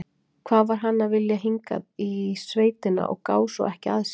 Hvað var hann að vilja hingað í sveitina og gá svo ekki að sér?